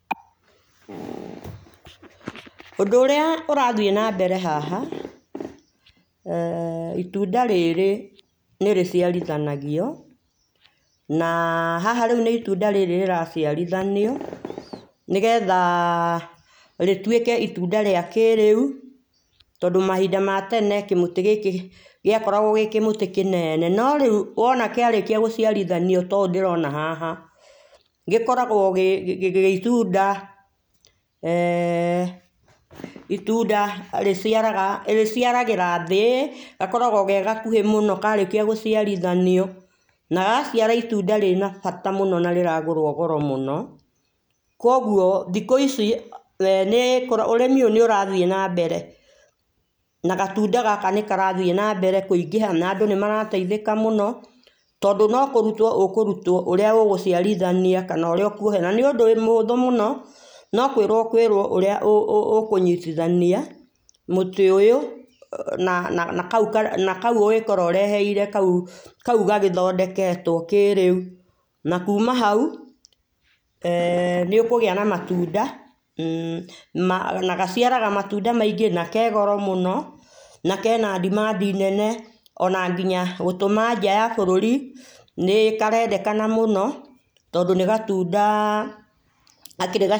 Ũndũ ũrĩa ũrathiĩ na mbere haha eeh itũnda rĩrĩ nĩrĩciarithanagio na haha nĩ ĩtũnda rĩrĩ rĩraciarĩthanĩo nĩgetha rĩtwĩke itũnda rĩa kĩrĩũ tondũ mahinda ma tene kĩmũtĩ gĩkĩ gĩakoragwo gĩ kĩmũtĩ kĩnene no rĩũ wona kĩarĩkĩa gũciarithanio ta ũũ ndĩrona haha gĩkoragwo gĩ itũnda [eeh ]itũnda rĩciaraga rĩciaragĩrathĩ gakoragwo ge gakũhĩ mũno karĩkia gũciarĩthanio na gagaciara itũnda rĩna bata mũno na rĩragũrwo goro mũno kũogũo thikũ ici eeh ũrĩmi ũyũ nĩ ũrathiĩ na mbere na gatũnda gaka nĩ karathiĩ na mbere kũingĩha na andũ nĩmarateithĩka mũno tondũ no kũrũtwo ũkũrũtwo ũrĩa ũgũciarĩthania kana ũrĩa ũkũoha na nĩũndũ mũhũthũ mũno no kwĩrwomũkũĩrwo ũrĩa ũkũnyitithania mũtĩ ũyũ na akaũ na akũ ũngĩkorwo ũrehete kaũ kaũ gagĩthondeketwo kĩrĩũ na kũma haũ eeh nĩ ũkũgĩa na matũnda mmh na gaciaraga matũnda maingĩ na kegoro mũno nakena dimadi nene ona nginya gũtũma nja ya bũrũri nĩ karendekana mũno tondũ nĩ gatũnda gakĩrĩ ga.